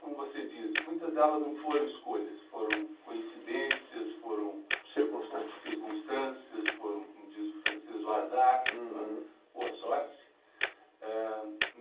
como você diz, muitas delas não foram escolhas, foram coincidências, foram circunstâncias, circunstâncias, foram, como diz o francês, o azar, ou a sorte.